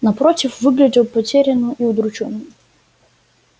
напротив выглядел потерянным и удручённым